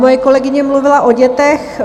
Moje kolegyně mluvila o dětech.